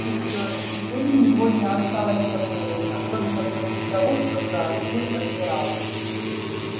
и все же теперь у него не осталось сомнений особенно после того что сообщил адмирал